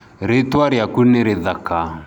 Rĩtwa rĩaku nĩ rĩthaka.